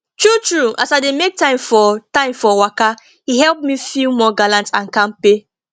true true as i dey make time for time for waka e help me feel more gallant and kampe